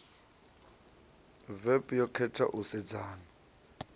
vep yo khetha u sedzana